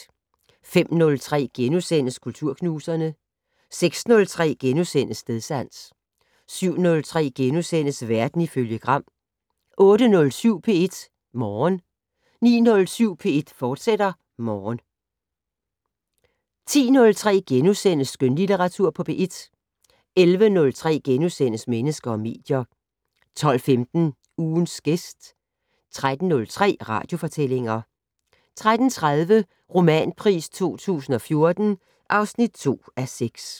05:03: Kulturknuserne * 06:03: Stedsans * 07:03: Verden ifølge Gram * 08:07: P1 Morgen 09:07: P1 Morgen, fortsat 10:03: Skønlitteratur på P1 * 11:03: Mennesker og medier * 12:15: Ugens gæst 13:03: Radiofortællinger 13:30: Romanpris 2014 (2:6)